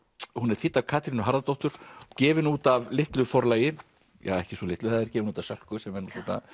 hún er þýdd af Katrínu Harðardóttur gefin út af litlu forlagi ekki svo litlu gefin út af Sölku sem er